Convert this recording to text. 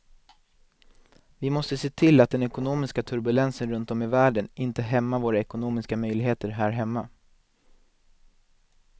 Vi måste se till att den ekonomiska turbulensen runt om i världen inte hämmar våra ekonomiska möjligheter här hemma.